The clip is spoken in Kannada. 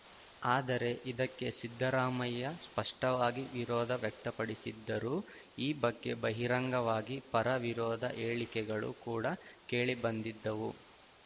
ಆದರೆ ಇದಕ್ಕೆ ಸಿದ್ದರಾಮಯ್ಯ ಸ್ಪಷ್ಟವಾಗಿ ವಿರೋಧ ವ್ಯಕ್ತಪಡಿಸಿದ್ದರು ಈ ಬಗ್ಗೆ ಬಹಿರಂಗವಾಗಿ ಪರ ವಿರೋಧ ಹೇಳಿಕೆಗಳು ಕೂಡ ಕೇಳಿಬಂದಿದ್ದವು